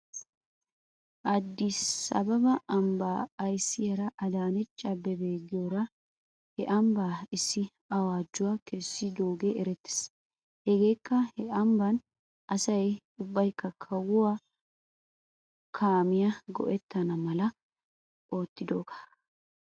Addis ababa ambbaa ayssiyaara adaanech abeebe giyoora he ambban issi awaajuwaa kessidoogee erettes. Hegeekka he ambban asay ubbaykka kawuwaa kaamiyaa go'ettana mala ootidoogaa.